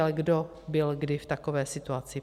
Ale kdo byl kdy v takové situaci?